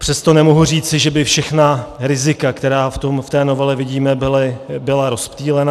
Přesto nemohu říci, že by všechna rizika, která v té novele vidíme, byla rozptýlena.